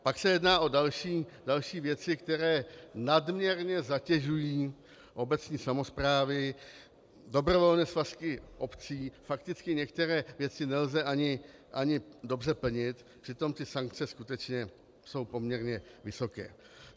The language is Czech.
Pak se jedná o další věci, které nadměrně zatěžují obecní samosprávy, dobrovolné svazky obcí, fakticky některé věci nelze asi dobře plnit, přitom ty sankce skutečně jsou poměrně vysoké.